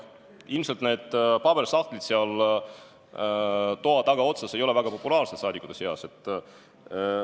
Ilmselt need paberisahtlid seal toa tagaotsas ei ole saadikute seas väga populaarsed.